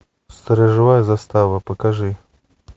сторожевая застава покажи